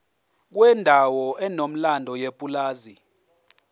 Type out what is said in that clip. kwendawo enomlando yepulazi